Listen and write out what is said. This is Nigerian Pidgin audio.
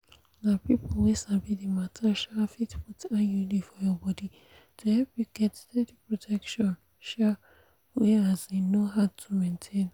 na people wey sabi the matter um fit put iud for your body to help you get steady protection um wey um no hard to maintain.